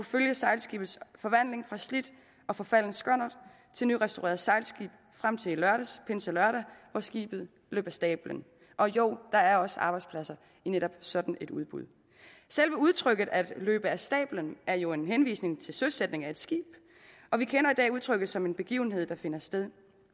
følge sejlskibets forvandling fra slidt og forfalden skonnert til nyrestaureret sejlskib frem til i lørdags pinselørdag hvor skibet løb af stabelen og jo der er også arbejdspladser i netop sådan et udbud selve udtrykket at løbe af stabelen er jo en henvisning til søsætningen af et skib og vi kender i dag udtrykket som en begivenhed der finder sted